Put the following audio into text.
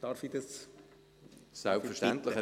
Darf ich Sie unterbrechen?